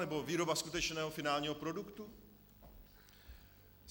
Nebo výroba skutečného finálního produktu?